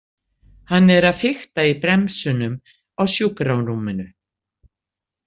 Hann er að fikta í bremsunum á sjúkrarúminu.